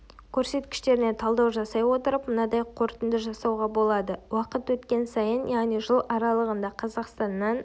көрсеткіштеріне талдау жасай отырып мынадай қорытынды жасауға болады уақыт өткен сайын яғни жыл аралығында қазақстаннан